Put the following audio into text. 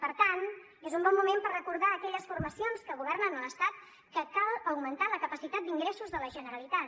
per tant és un bon moment per recordar a aquelles formacions que governen a l’estat que cal augmentar la capacitat d’ingressos de la generalitat